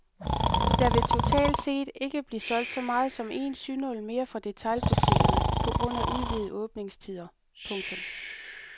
Der vil totalt set ikke blive solgt så meget som en synål mere fra detailbutikkerne på grund af udvidede åbningstider. punktum